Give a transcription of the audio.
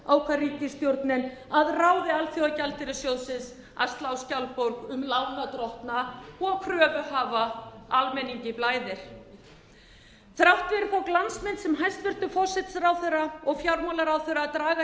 ákvað ríkisstjórnin að ráði alþjóðagjaldeyrissjóðsins að slá skjaldborg um lánardrottna og kröfuhafa almenningi blæðir þrátt fyrir þá glansmynd sem hæstvirtur forsætisráðherra og fjármálaráðherra draga